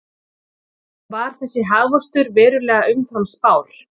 Var þessi hagvöxtur verulega umfram spár